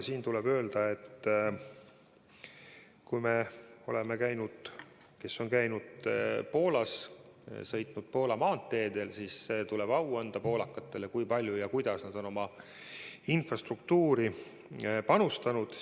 Tuleb öelda, et kui me oleme käinud Poolas ja sõitnud sealsetel maanteedel, siis tuleb poolakatele au anda, kui palju ja kuidas nad on oma infrastruktuuri panustanud.